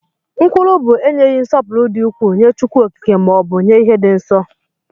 Nkwulu bu enyeghi nsọpụrụ di ukwu nye Chukwu okike ma ọbụ nye ihe di nsọ.